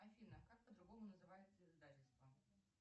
афина как по другому называется издательство